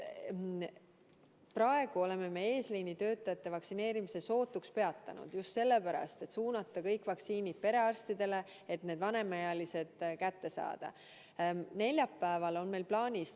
Praegu oleme eesliini töötajate vaktsineerimise sootuks peatanud just sellepärast, et suunata kõik vaktsiinid perearstidele, et vanemaealised süsti kätte saaksid.